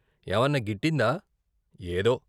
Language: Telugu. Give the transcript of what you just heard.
ఏవన్న గిట్టిందా? ఏదో.